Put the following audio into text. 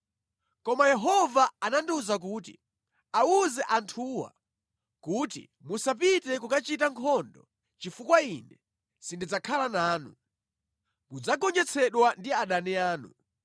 Koma Yehova anandiwuza kuti, “Awuze anthuwa kuti, ‘Musapite kukachita nkhondo chifukwa Ine sindidzakhala nanu. Mudzagonjetsedwa ndi adani anu.’ ”